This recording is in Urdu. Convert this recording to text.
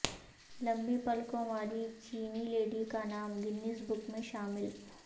لمبی پلکوں والی چینی لیڈی کا نام گنیز بک میں شامل